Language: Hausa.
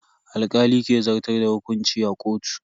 Alkali ke zartar da hukunci a kotu.